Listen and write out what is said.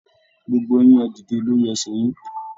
Gbogbo yín, ẹ̀ dìde lórí ẹsẹ yín!